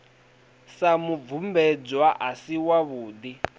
sa mubvumbedzwa a si wavhudi